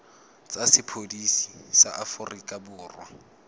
tsa sepodisi sa aforika borwa